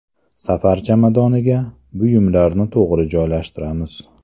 Safar chamadoniga buyumlarni to‘g‘ri joylashtiramiz.